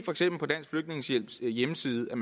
på dansk flygtningehjælps hjemmeside